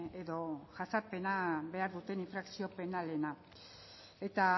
edo jazarpena behar duten infrakzio penalena eta